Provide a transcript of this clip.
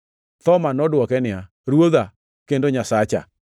Thoma nodwoke niya, “Ruodha kendo Nyasacha!”